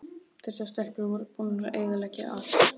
Þessar stelpur voru búnar að eyðileggja allt!